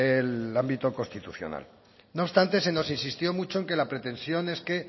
el ámbito constitucional no obstante se nos exigió mucho en que la pretensión es que